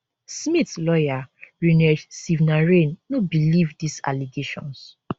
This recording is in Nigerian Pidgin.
smith lawyer rinesh sivnarain no believe dis allegations